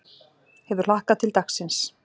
Hefur hlakkað til dagsins.